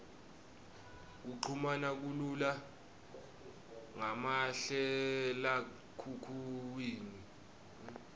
kuchumana kulula ngamahlalekhukhwini